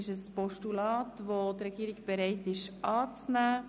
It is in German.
Die Regierung will dieses Postulat annehmen.